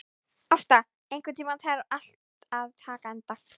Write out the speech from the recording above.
Ásta, einhvern tímann þarf allt að taka enda.